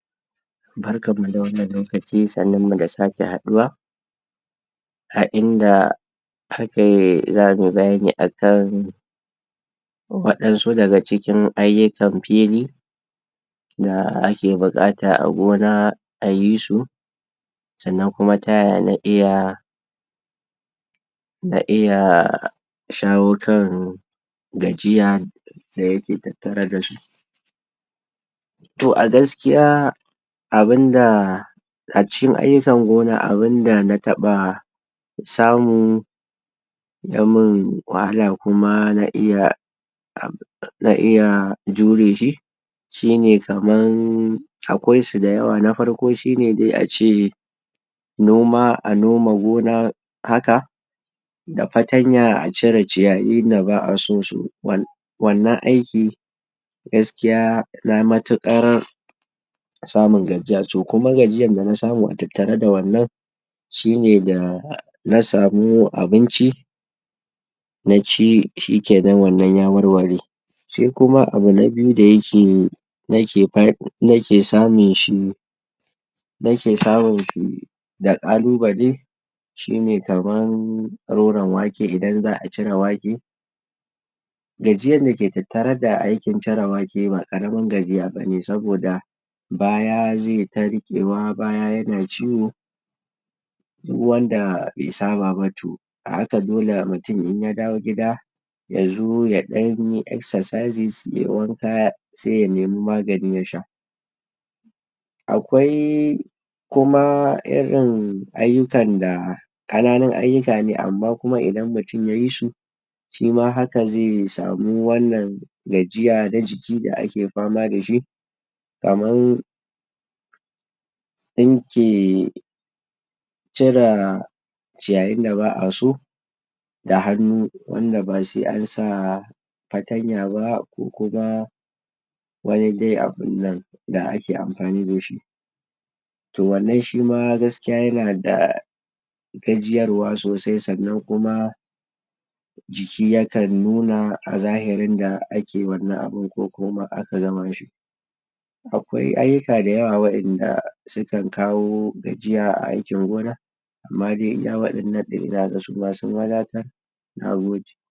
Barkanmu da wannan lokaci, sannunmu da same haduwa a inda zamuyi bayani akan wadansu daka cikin ayyukan fili da ake bu'kata a gona ayi su sannan kuma tayaya na iya na iya shawo kan gajiya dayake tattare dashi. Toh a gaskiya abinda a cikin ayyukan gona abunda samu yamun wahala kuma na iya na iya jure shi shine kaman akwaisu dayawa. Nafarko shine dai ace noma, a noma gona haka da fatanya a cire ciyayinda ba a so wan wannan aiki gaskiya yana matu'kar samun gajiya toh kuma gajiyanda nasamu a tattare da wannan shine dana samu abinci shikenan wannan ya warware. Saikuma abu na biyu da nake nake samun shi nake samun shi da 'kalubale shine kaman roran wake idan za'a cire wake, gajiyanda ke tattare da cire wake ba 'karamin gajiya bane saboda baya zeta ri'kewa baya yana ciwo duk wanda be saba ba to a haka dole mutum inya dawo gida yazo yadanyi exercises yayi wanka sai ya nemi magani ya sha akwai kuma irin ayyukan da 'kananun ayyukane amma kuma idan mutum yayisu shi ma haka ze samu wannan gajiya na jiki da ake fama dashi kaman tsinke cire ciyayin da ba a so da hannu wanda ba sai ansa fatanya ba kokuma wani dai abunnan da ake amfani dashi. Toh wannan shima gaskiya yanada gajiyarwa sosai sannan kuma jiki yakan nuna a zahirin da ake wannan abun ko kuma aka gama shi. Akwai ayyuka dayawa wadanda sukan kawo gajiya a aikin gona amma iyakan wadannan inaga sun wadatar. Na gode.